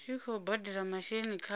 tshi khou badela masheleni khatsho